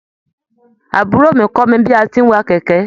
Àbúrò mi kọ mí bi a tí n wà kẹkẹ.